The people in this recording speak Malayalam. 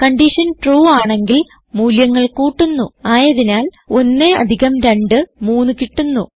കൺഡിഷൻ ട്രൂ ആണെങ്കിൽ മൂല്യങ്ങൾ കൂട്ടുന്നു അതായത് 1 അധികം 23 കിട്ടുന്നു